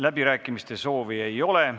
Läbirääkimiste soovi ei ole.